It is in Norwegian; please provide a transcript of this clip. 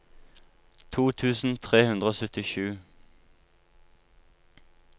to tusen tre hundre og syttisju